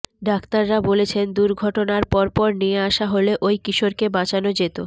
ডাক্তাররা বলছেন দুর্ঘটনার পরপর নিয়ে আসা হলে ওই কিশোরকে বাঁচানো যেত